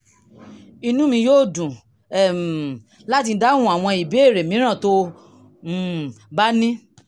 inú mi yóò dùn um láti dáhùn àwọn ìbéèrè mìíràn tó o um bá ní